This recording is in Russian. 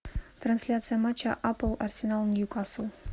трансляция матча апл арсенал ньюкасл